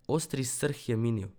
Ostri srh je minil.